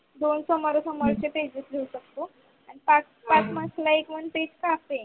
दोन समोरून समोरचे Pages लिहत असतो. पाच पाच Pages ला एक one page राहते.